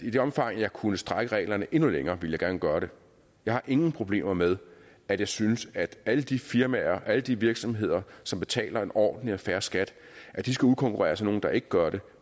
i det omfang jeg kunne strække reglerne endnu længere ville jeg gerne gøre det jeg har ingen problemer med at jeg synes at alle de firmaer alle de virksomheder som betaler en ordentlig og fair skat skal udkonkurreres af nogle der ikke gør det